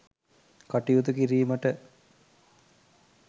කටයුතු කිරීමට